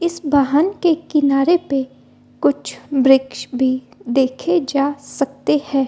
इस वाहन के किनारे पे कुछ वृक्ष भी देखे जा सकते हैं ।